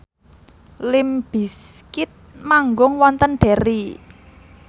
limp bizkit manggung wonten Derry